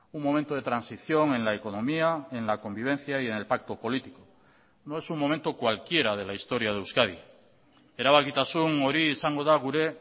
un momento de transición en la economía en la convivencia y en el pacto político no es un momento cualquiera de la historia de euskadi erabakitasun hori izango da gure